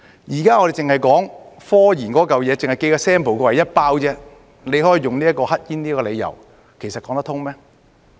現在我們只是說及科研，只是寄 sample 過來，一包而已，政府卻可以用"黑煙"為理由，其實說得通嗎？